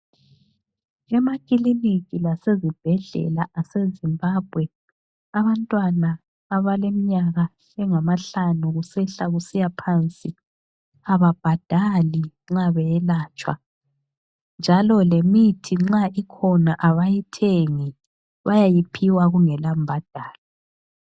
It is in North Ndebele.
Emakiliniki lasezibhedlela ase Zimbabwe, abantwana abaleminyaka engamahlanu kusehla kusiya phansi ababhadali nxa beyelatshwa njalo lemithi nxa ikhona abayithengi bayayiphiwa kungela mbhadalo.